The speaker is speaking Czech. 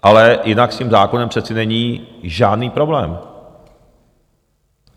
Ale jinak s tím zákonem přece není žádný problém.